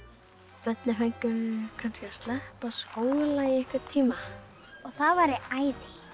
börnin fengju kannski að sleppa skóla í einhvern tíma og það væri æði